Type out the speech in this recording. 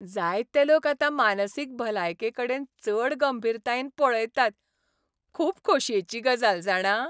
जायते लोक आतां मानसीक भलायकेकडेन चड गंभीरतायेन पळयतात. खूब खोशयेची गजाल, जाणा.